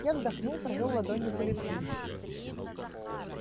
я вздохнул провёл ладонью по лицу